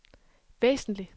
væsentlig